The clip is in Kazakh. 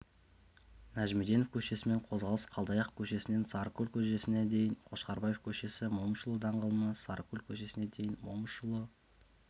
нәжімеденов көшесімен қозғалыс қалдаяқов көшесінен сарыкөл көшесіне дейін қошқарбаев көшесі момышұлы даңғылынан сарыкөл көшесіне дейін момышұлы